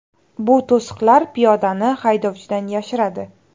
Bu to‘siqlar piyodani haydovchidan yashiradi.